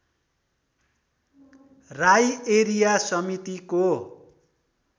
Rai area समितिको